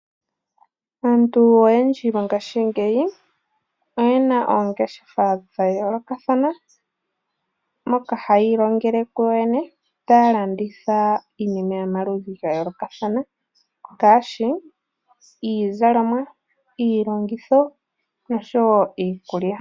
Aantu oyendji mongashingeyi oyena oongeshefa dhayoolokathana moka hayi ilongele kuyoyene, taya landitha iinima yomaludhi gayoolokathana ngaashi iizalomwa, iilongitho noshowoo iikulya.